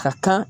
Ka kan